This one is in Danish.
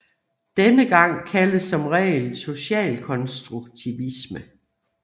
Denne tilgang kaldes som regel socialkonstruktivisme